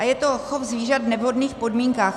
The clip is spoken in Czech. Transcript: A je to chov zvířat v nevhodných podmínkách.